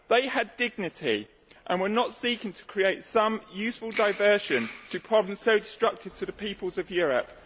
They had dignity, and we are not seeking to create some useful diversion to problems so destructive to the peoples of Europe.